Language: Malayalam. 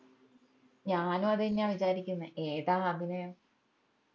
ഞാനു അതെന്നയ വിചാരിക്കുന്നെ ഏതാ അഭിനയം